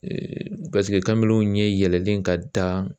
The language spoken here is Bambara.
kamalenw ɲɛ yɛlɛlen ka taa